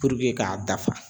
Puruke k'a dafa